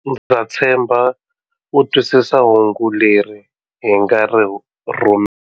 Ndza tshemba u twisisa hungu leri hi nga ri rhuma.